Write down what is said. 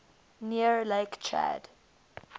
near lake chad